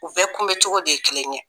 U bɛɛ kunbɛncogo de ye kelen ye